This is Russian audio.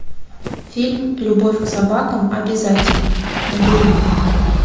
фильм любовь к собакам обязательна набери